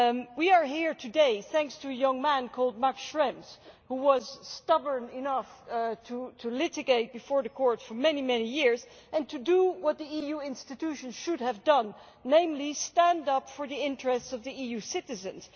We are here today thanks to a young man called Max Schrems who was stubborn enough to litigate before the court for many, many years and to do what the EU institutions should have done, namely stand up for the interests of the EU citizens.